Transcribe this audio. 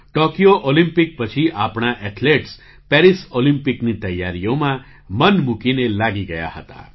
Tokyo Olympic પછી આપણા athletes Paris ઑલિમ્પિકની તૈયારીઓમાં મન મૂકીને લાગી ગયા હતા